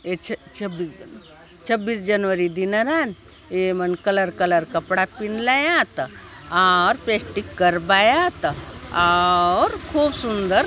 ये छ_छब्बीस छब्बीस जनवरी दिन नान ये मन कलर कलर कपड़ा पिंदलायात आउर प्रैक्टिस करबाआत आउर खूब सुंदर --